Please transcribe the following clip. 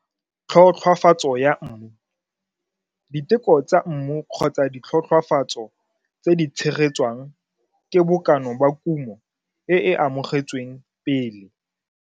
Tlhotlhwafatso ya mmu diteko tsa mmu kgotsa ditlhotlhwafatso tse di tshegetswang ke bokana ba kumo e e amogetsweng pele.